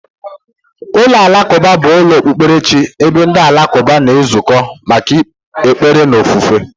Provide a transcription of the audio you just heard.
Ụlọ alakụba bụ ụlọ okpukperechi ebe ndị Alakụba na-ezukọ maka ekpere na ofufe.